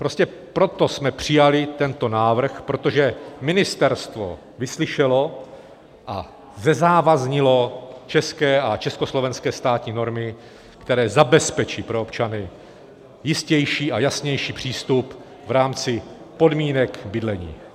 Prostě proto jsme přijali tento návrh, protože ministerstvo vyslyšelo a zezávaznilo české a československé státní normy, které zabezpečí pro občany jistější a jasnější přístup v rámci podmínek bydlení.